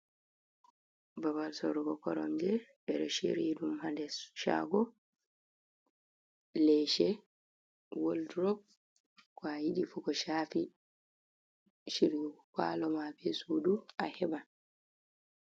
Babal sorrugo koronje, ɓeɗon sirri ɗum ha nder caago, leese wod durop, ko'a yiɗifu ko cafi sirrigo palo ma bee suudu aheɓan.